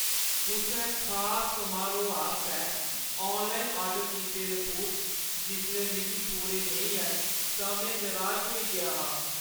कुसै खास समारोह् आस्तै ऑनलाइन आर्डर कीते दे बूट जिसलै मिगी पूरे नेईं आए, तां में निराश होई गेआ हा।